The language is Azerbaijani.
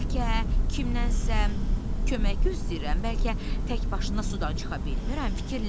Bəlkə kimsə kömək gözləyirəm, bəlkə təkbaşına sudan çıxa bilmirəm, fikirləş.